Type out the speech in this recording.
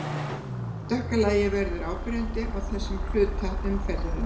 Dökka lagið verður áberandi á þessum hluta umferðarinnar.